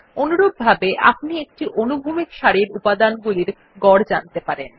অনুরূপভাবে আপনি একটি অনুভূমিক সারির উপাদানগুলির গড় জানতে পারেন